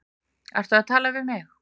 Ertu að tala við mig?